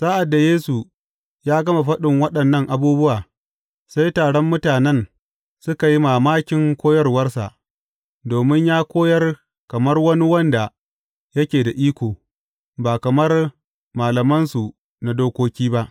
Sa’ad da Yesu ya gama faɗin waɗannan abubuwa, sai taron mutanen suka yi mamakin koyarwarsa, domin ya koyar kamar wani wanda yake da iko, ba kamar malamansu na dokoki ba.